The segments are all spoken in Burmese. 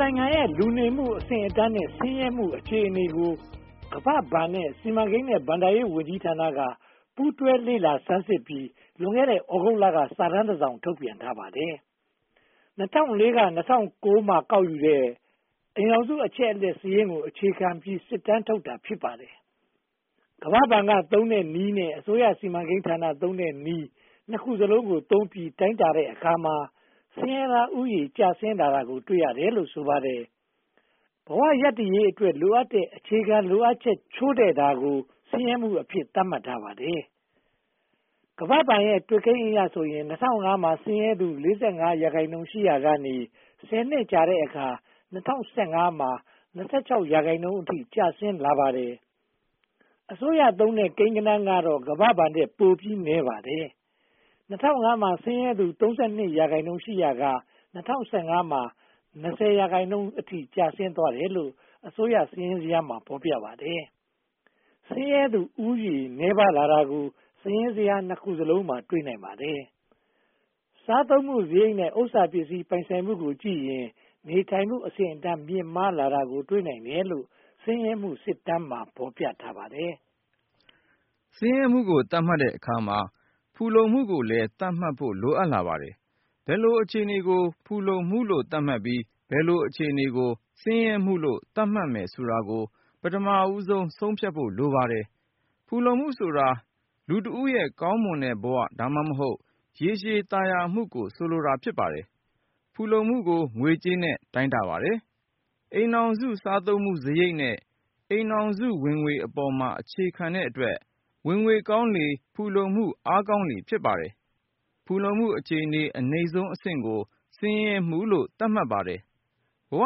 နိုင်ငံရဲ့ လူနေမှုအဆင့်အတန်းနဲ့ ဆင်းရဲမှုအခြေအနေကို ကမ္ဘာ့ဘဏ်နဲ့ စီမံကိန်းနဲ့ ဘဏ္ဍာရေးဝန်ကြီးဌာနတို့က ပူးတွဲလေ့လာဆန်းစစ်ပြီး လွန်ခဲ့တဲ့ သြဂုတ်လက စစ်တမ်းတစောင် ထုတ်ပြန်ထားပါတယ်။ ၂၀၀၄ နဲ့ ၂၀၀၉ မှာ ကောက်ယူတဲ့ အိမ်ထောင်စု အချက်အလက်စာရင်းကို အခြေခံပြီး စစ်တမ်းထုတ်တာ ဖြစ်ပါတယ်။ ကမ္ဘာ့ဘဏ်ကသုံးတဲ့နည်းနဲ့ အစိုးရဌာနသုံးတဲ့နည်း နှစ်ခုစလုံးကိုသုံးပြီး တိုင်းတာတဲ့အခါမှာ ဆင်းရဲသားဦးရေ ကျဆင်းလာတာကို တွေ့ရတယ်လို့ ဆိုပါတယ်။ ဘဝရပ်တည်ရေးအတွက် လိုအပ်တဲ့ အခြေခံလိုအပ်ချက် ချို့တဲ့တာကို ဆင်းရဲမှုအဖြစ် သတ်မှတ်ထားပါတယ်။ ကမ္ဘာ့ဘဏ်ရဲ့ တွက်ကိန်းအရဆိုရင် ၂၀၀၅ မှာ ဆင်းရဲသူ (၄၅) ရာခိုင်နှုန်း ရှိရာကနေ ဆယ်နှစ်ကြာတဲ့အခါ ၂၀၁၅ မှာ (၂၆) ရာခိုင်နှုန်းအထိ ကျဆင်းလာပါတယ်။ အစိုးရသုံးတဲ့ ကိန်းကဏန်းကတော့ ကမ္ဘာ့ဘဏ်ထက် ပိုနည်းပါတယ်။ ၂၀၀၅ မှာ ဆင်းရဲသူ (၃၂) ရာခိုင်နှုန်းရှိရာက (၂၀၁၅) မှာ (၂၀) ရာခိုင်နှုန်းအထိ ကျဆင်းသွားတယ်လို့ အစိုးရစာရင်းဇယားမှာ ဖော်ပြပါတယ်။ ဆင်းရဲသူဦးရေ နည်းပါးလာတာကို စာရင်းဇယား (၂) ခုစလုံးမှာ တွေ့နိုင်ပါတယ်။ စာသုံးမှုစရိတ်နဲ့ ဥစ္စာပစ္စည်းပိုင်ဆိုင်မှုကိုကြည့်ရင် နေထိုင်မှုအဆင့်အတန်း မြင့်မားလာတာကို တွေ့နိုင်တယ်လို့ ဆင်းရဲမှုစစ်တမ်းမှာ ဖော်ပြပါတယ်။ ဆင်းရဲမှုကို သတ်မှတ်တဲ့အခါမှာ ဖူလုံမှုကိုလည်း သတ်မှတ်ဖို့ လိုအပ်လာပါတယ်။ ဘယ်လို အခြေအနေကို ဖူလုံမှုလို့ သတ်မှတ်ပြီး၊ ဘယ်လို အခြေအနေကို ဆင်းရဲမှုလို့ သတ်မှတ်မယ်ဆိုတာကို ပထမဦးဆုံး ဆုံးဖြတ်ဖို့ လိုပါတယ်။ ဖူလုံမှုဆိုတာ လူတဦးရဲ့ ကောင်းမွန်တဲ့ဘဝ (သို့မဟုတ်) ရေရှည်သာယာမှုကို ဆိုလိုတာ ဖြစ်ပါတယ်။ ဖူလုံမှုကို ငွေကြေးနဲ့ တိုင်းတာပါတယ်။ အိမ်ထောင်စု စားသုံးမှုစရိတ်နဲ့ အိမ်ထောင်စု ဝင်ငွေပေါ်မှာ အခြေခံတဲ့အတွက် ဝင်ငွေကောင်းလေ၊ ဖူလုံမှုအားကောင်းလေ ဖြစ်ပါတယ်။ ဖူလုံမှုအခြေအနေ အနိမ့်ဆုံးအဆင့်ကို ဆင်းရဲမှုလို့ သတ်မှတ်ပါတယ်။ ဘဝ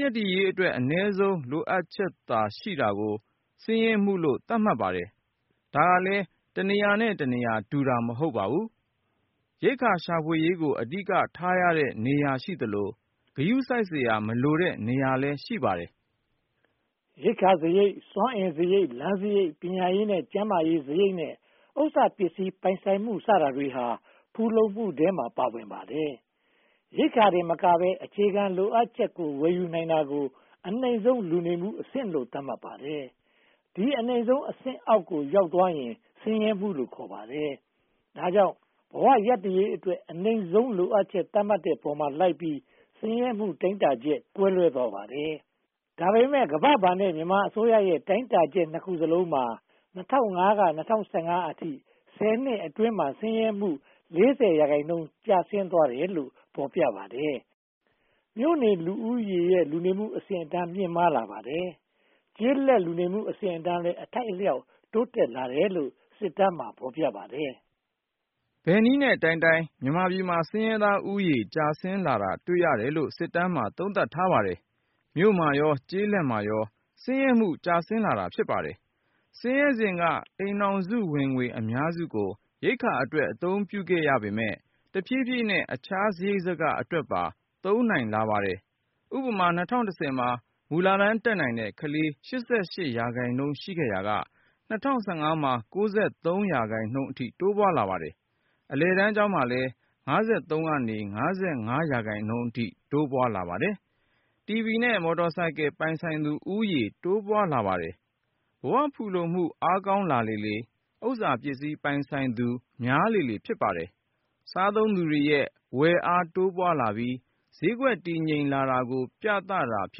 ရပ်တည်ရေးအတွက် အနည်းဆုံး လိုအပ်ချက်သာရှိတာကို ဆင်းရဲမှုလို့ သတ်မှတ်ပါတယ်။ ဒါကလဲ တနေရာနဲ့တနေရာ တူတာ မဟုတ်ပါဘူး။ ရိက္ခာရှာဖွေရေးကို အဓိကထားရတဲ့ နေရာရှိသလို ဂရုစိုက်စရာ မလိုတဲ့နေရာလည်း ရှိပါတယ်။ ရိက္ခာစရိတ်၊ စွမ်းအင်စရိတ်၊ လမ်းစရိတ်၊ ပညာရေးနဲ့ ကျန်းမာရေးစရိတ်နဲ့ ဥစ္စာပစ္စည်းပိုင်ဆိုင်မှု စတာတွေဟာ ဖူလုံမှုထဲမှာ ပါဝင်ပါတယ်။ ရိက္ခာတင်မကဘဲ အခြားအခြေခံလိုအပ်ချက်တွေ ဝယ်နိုင်တာကို အနိမ့်ဆုံးလူနေမှုအဆင့်လို့ သတ်မှတ်ပါတယ်။ ဒီအနိမ့်ဆုံးအဆင့်အောက်ကို ရောက်သွားရင် ဆင်းရဲမှုလို့ ခေါ်ပါတယ်။ ဒါကြောင့် ဘဝရပ်တည်ရေးအတွက် အနိမ့်ဆုံး လိုအပ်ချက် သတ်မှတ်တဲ့ပေါ်မှာလိုက်ပြီး ဆင်းရဲမှု တိုင်းတာချက် ကွဲလွဲသွားပါတယ်။ ဒါပေမဲ့ ကမ္ဘာ့ဘဏ်နဲ့ မြန်မာအစိုးရရဲ့ တိုင်းတာချက် နှစ်ခုစလုံးမှာ ၂၀၀၅ ကနေ ၂၀၁၅ အထိ ဆယ်နှစ်အတွင်းမှာ ဆင်းရဲမှု (၄၀) ရာခိုင်နှုန်း ကျဆင်းသွားတယ်လို့ ဖော်ပြထားပါတယ်။ မြို့နယ်လူဦးရေရဲ့ လူနေမှုအဆင့်အတန်း မြင့်မားလာပါတယ်။ ကျေးလက်လူနေမှုအဆင့်အတန်းလည်း အထိုက်အလျှောက် တိုးတက်လာတယ်လို့ စစ်တမ်းမှာ ဖော်ပြပါတယ်။ ဘယ်နည်းနဲ့တိုင်းတိုင်း မြန်မာပြည်မှာ ဆင်းရဲသားဦးရေ ကျဆင်းလာတာ တွေ့ရတယ်လို့ စစ်တမ်းမှာ သုံးသပ်ထားပါတယ်။ မြို့မှာရော၊ ကျေးလက်မှာရော ဆင်းရဲမှု ကျဆင်းလာပါတယ်။ ဆင်းရဲစဉ်က အိမ်ထောင်စုဝင်ငွေ အများစုကို ရိက္ခာအတွက် အသုံးပြုခဲ့ရပြီး၊ တဖြည်းဖြည်းနဲ့ အခြားစရိတ်စကအတွက်ပါ သုံးနိုင်လာပါတယ်။ ဥပမာ - ၂၀၁၀ မှာ မူလတန်း တက်နိုင်တဲ့ကလေး (၈၈) ရာခိုင်နှုန်း ရှိခဲ့ရာကနေ ၂၀၁၅ မှာ (၉၃) ရာခိုင်နှုန်းအထိ တိုးပွားလာပါတယ်။ တီဗီနဲ့ မော်တော်ဆိုင်ကယ်ပိုင်သူ ဦးရေလည်း တိုးပွားလာပါတယ်။ ဘဝဖူလုံမှု အားကောင်းလာလေလေ ဥစ္စာပစ္စည်းပိုင်ဆိုင်သူ များလေလေ ဖြစ်ပါတယ်။ စားသုံးသူတွေရဲ့ ဝယ်အားတိုးပွားလာပြီး ဈေးကွက်တည်ငြိမ်လာတာကို ပြသတာ ဖြ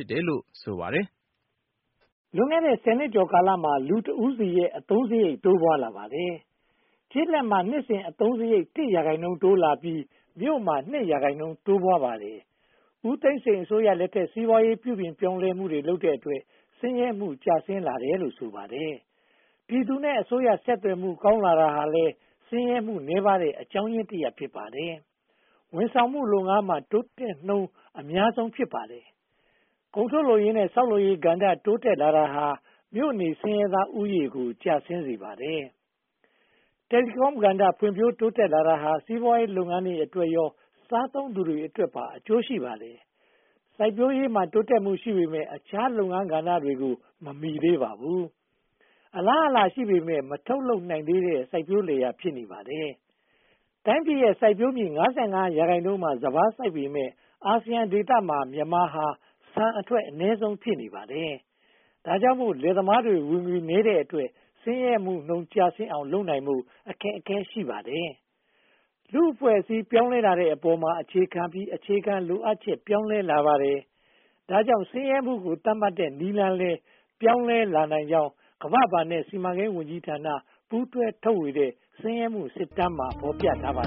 စ်တယ်လို့ ဆိုပါတယ်။ လွန်ခဲ့တဲ့ ဆယ်နှစ်ကျော်ကာလမှာ လူတဦးစီရဲ့ အသုံးစရိတ် တိုးပွားလာပါတယ်။ ကျေးလက်မှာ နှစ်စဉ်အသုံးစရိတ် (၁) ရာခိုင်နှုန်း တိုးလာပြီး မြို့မှာ (၂) ရာခိုင်နှုန်း တိုးပွားလာပါတယ်။ ဦးသိန်းစိန်အစိုးရလက်ထက် စီးပွားရေးပြုပြင်မှုတွေ လုပ်တဲ့အတွက် ဆင်းရဲမှု ကျဆင်းလာတယ်လို့ ဆိုပါတယ်။ ပြည်သူနဲ့ အစိုးရ ဆက်သွယ်မှု ကောင်းလာတာဟာလည်း ဆင်းရဲမှုနည်းပါးတဲ့ အကြောင်းရင်းတရပ် ဖြစ်ပါတယ်။ ဝန်ဆောင်လုပ်ငန်းမှာ တိုးတက်မှုနှုန်း အများဆုံး ဖြစ်ပါတယ်။ ကုန်ထုတ်လုပ်ရေးနဲ့ ဆောက်လုပ်ရေးကဏ္ဍ တိုးတက်လာတာဟာ မြို့နေဆင်းရဲသားဦးရေကို ကျဆင်းစေပါတယ်။ Telecom ကဏ္ဍ ဖွံ့ဖြိုးတိုးတက်လာတာဟာ စီးပွားရေးလုပ်ငန်းတွေအတွက်ရော စားသုံးသူတွေအတွက်ရော အကျိုးရှိပါတယ်။ စိုက်ပျိုးရေးမှာ တိုးတက်မှုရှိပေမယ့် အခြားလုပ်ငန်းကဏ္ဍတွေကို မမီသေးပါဘူး။ အလားအလာ ရှိပေမယ့် မထုတ်လုပ်နိုင်သေးတဲ့ စိုက်ပျိုးလယ်ယာမြေတွေ ဖြစ်နေပါတယ်။ တိုင်းပြည်ရဲ့ စိုက်ပျိုးမြေ (၅၅) ရာခိုင်နှုန်းမှာ စပါးစိုက်ပေမယ့် အာဆီယံဒေသမှာ မြန်မာနိုင်ငံဟာ ဆန်ထွက်နှုန်း အနည်းဆုံး ဖြစ်နေပါတယ်။ ဒါကြောင့်မို့ လယ်သမားတွေ ဝင်ငွေနည်းတဲ့အတွက် ဆင်းရဲမှုနှုန်း ကျဆင်းအောင် လုပ်နိုင်ဖို့ အခက်အခဲ ရှိပါတယ်။ လူ့အဖွဲ့အစည်း ပြောင်းလဲတဲ့အပေါ်မှာ အခြေခံပြီး အခြေခံလိုအပ်ချက် ပြောင်းလဲလာပါတယ်။ ဒါကြောင့် ဆင်းရဲမှုကို သတ်မှတ်တဲ့နည်းလမ်းလည်း ပြောင်းလဲလာနိုင်ကြောင်း ကမ္ဘာ့ဘဏ်နဲ့ စီမံကိန်းဝန်ကြီးဌာနတို့ ပူးတွဲထုတ်ဝေတဲ့ “ဆင်းရဲမှုစစ်တမ်း” မှာ ဖော်ပြထားပါ